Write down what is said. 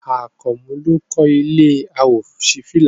Àkànmú ló kọ́ ilé àwòṣífìlà